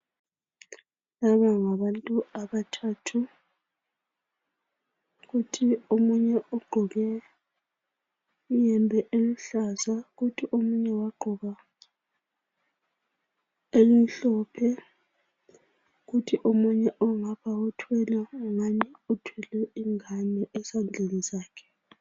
Laba ngabantu abathathu. Kuthi omunye ugqoke iyembe eluhlaza, kuthi omunye wagqoka emhlophe, kuthi omunye uthwele ingani uthwele ingane esandleni sakhe.